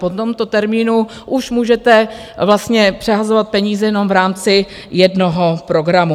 Po tomto termínu už můžete vlastně přehazovat peníze jenom v rámci jednoho programu.